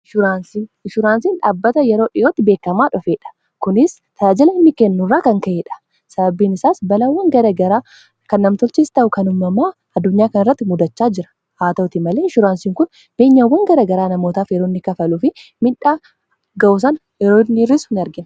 Inshuraansiin dhaabbata yeroo dhi'ootti beekkamaa dhofeedha. Kunis tajaajila mirkaneessuu irraa kan ka'ee dha. Sababbiin isaas balawwan garagaraa kan namtolchees ta'u kanumamaa addunyaa kan irratti muddachaa jira haa ta'utti malee inshuraansiin kun.